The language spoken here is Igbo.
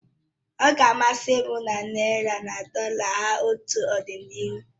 Ọ ga amasị m ma naị́ra na dọla hara otu n'ọdịnihu